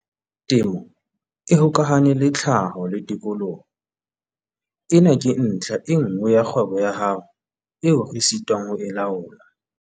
Temo e hokahane le tlhaho le tikoloho. Ena ke ntlha e nngwe ya kgwebo ya hao eo re sitwang ho e laola.